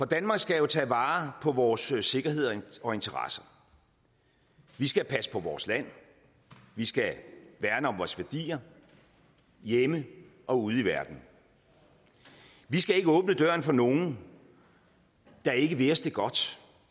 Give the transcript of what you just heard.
danmark skal vi tage vare på vores sikkerhed og interesse vi skal passe på vores land vi skal værne om vores værdier hjemme og ude i verden vi skal ikke åbne døren for nogen der ikke vil os det godt